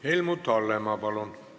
Helmut Hallemaa, palun!